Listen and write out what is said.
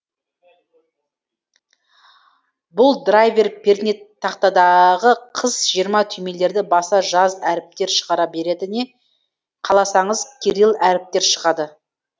бұл драйвер пернетақтадағы қыс жиырма түймелерді баса жаз әріптер шығара береді не қаласаңыз кирилл әріптер шығады